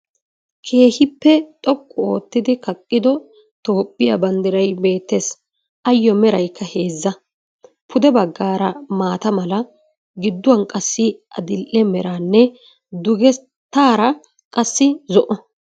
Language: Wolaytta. Keehippe xoqqu ottidi kaqqido tophiya banddiray beettees. Ayo meraaykka heezza. Puddee baggara maata mala gidduwan qassi adidhdhee meraanne duggetaraa qassi zo7o.